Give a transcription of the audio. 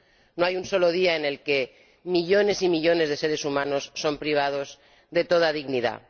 No hay un solo día en el que millones y millones de seres humanos no sean privados de toda dignidad.